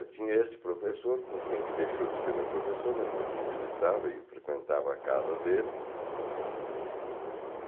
Eu tinha esse professor, com quem que deixou de ser meu professor, mas que eu visitava e frequentava a casa dele.